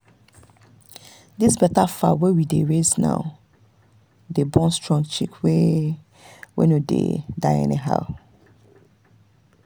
this better fowl we dey raise now dey born strong chick wey wey no dey die anyhow.